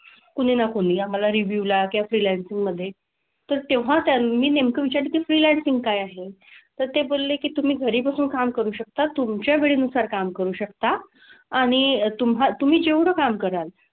कुणी ना कुणी आम्हाला review ला किंवा freelancing मधे तर तेव्हा त्यां मी नेमकं विचारलं की freelancing काय आहे. तर ते बोलले की तुम्ही घरी बसून काम करू शकता, तुमच्या वेळेनुसार काम करू शकता. आणि तुम्हा तुम्ही जेवढं काम कराल,